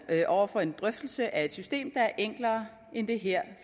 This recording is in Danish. over for en drøftelse af et system der er enklere end det her